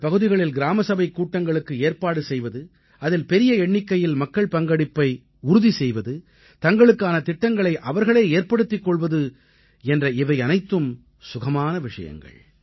இந்தப் பகுதிகளில் கிராம சபைக் கூட்டங்களுக்கு ஏற்பாடு செய்வது அதில் பெரிய எண்ணிக்கையில் மக்கள் பங்கெடுப்பை உறுதி செய்வது தங்களுக்கான திட்டங்களை அவர்களே ஏற்படுத்திக் கொள்வது என்ற இவையனைத்தும் சுகமான விஷயங்கள்